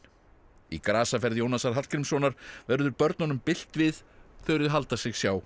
í grasaferð Jónasar Hallgrímssonar verður börnunum bylt við þegar þau halda sig sjá